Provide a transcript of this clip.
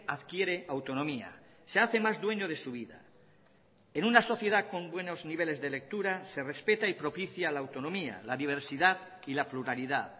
adquiere autonomía se hace más dueño de su vida en una sociedad con buenos niveles de lectura se respeta y propicia la autonomía la diversidad y la pluralidad